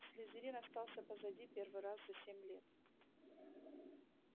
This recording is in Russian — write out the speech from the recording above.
слизерин остался позади первый раз за семь лет